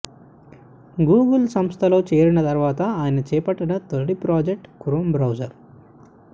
Google సంస్థలో చేరిన తరువాత ఆయన చేపట్టిన తొలి ప్రాజెక్టు క్రోమ్ బ్రౌజర్